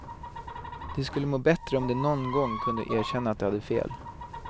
De skulle må bättre om de nån gång kunde erkänna att de hade fel.